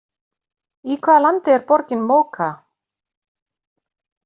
Í hvaða landi er borgin Mocha?